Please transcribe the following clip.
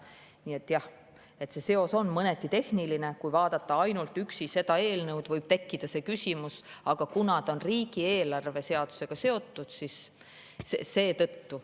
Nii et jah, see seos on mõneti tehniline – kui vaadata ainult seda eelnõu, siis võib tekkida see küsimus –, aga kuna ta on riigieelarve seadusega seotud, siis seetõttu.